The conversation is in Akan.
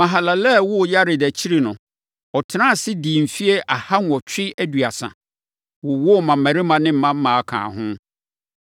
Mahalalel woo Yared akyiri no, ɔtenaa ase, dii mfeɛ aha nwɔtwe aduasa, wowoo mmammarima ne mmammaa kaa ho.